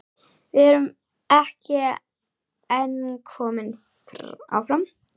Við erum ekki en komnir áfram?